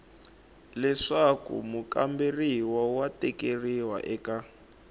leswaku mukamberiwa wa tikeriwa eka